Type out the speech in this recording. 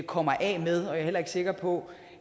kommer af med og jeg er heller ikke sikker på